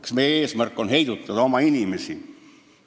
Kas meie eesmärk on heidutada oma inimesi?